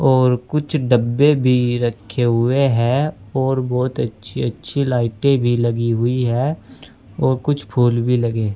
और कुछ डब्बे भी रखे हुए हैं और बहुत अच्छी अच्छी लाइटें भी लगी हुई है और कुछ फूल भी लगे है।